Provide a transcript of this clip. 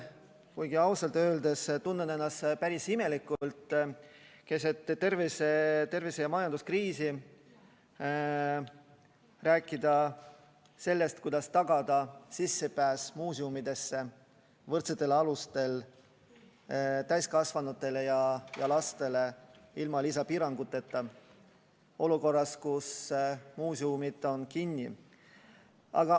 Kuigi ausalt öeldes tunnen ennast keset tervise- ja majanduskriisi päris imelikult rääkides sellest, kuidas tagada sissepääs muuseumidesse võrdsetel alustel täiskasvanutele ja lastele ilma lisapiiranguteta olukorras, kus muuseumid on kinni.